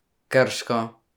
Krško.